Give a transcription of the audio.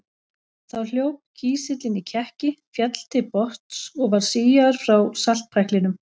Þá hljóp kísillinn í kekki, féll til botns og var síaður frá saltpæklinum.